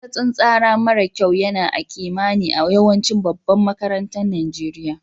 Matsatsin tsara mara kyau yana a'kimani a yawancin babban makarantan Nijeriya.